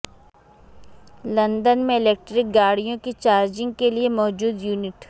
London میں electric گاڑیوں کی چارجنگ کے لیے موجود یونٹ